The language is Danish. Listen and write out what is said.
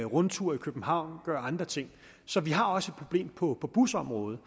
rundture i københavn og gør andre ting så vi har også et problem på busområdet